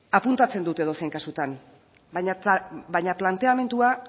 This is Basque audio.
apuntatzen dut edozein kasutan baina planteamendua